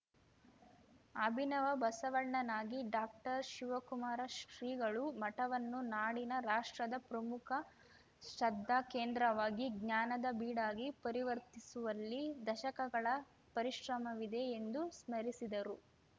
ಅಭಿನವ ಬಸವಣ್ಣನಾಗಿ ಡಾಕ್ಟರ್ಶಿವಕುಮಾರ ಶ್ರೀಗಳು ಮಠವನ್ನು ನಾಡಿನ ರಾಷ್ಟ್ರದ ಪ್ರಮುಖ ಶ್ರದ್ಧಾಕೇಂದ್ರವಾಗಿ ಜ್ಞಾನದ ಬೀಡಾಗಿ ಪರಿವರ್ತಿಸುವಲ್ಲಿ ದಶಕಗಳ ಪರಿಶ್ರಮವಿದೆ ಎಂದು ಸ್ಮರಿಸಿದರು